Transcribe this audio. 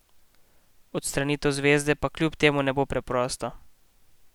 Odstranitev zvezde pa kljub temu ne bo preprosta.